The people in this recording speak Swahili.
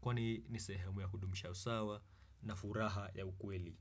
Kwani ni sehemu ya kudumisha usawa na furaha ya ukweli.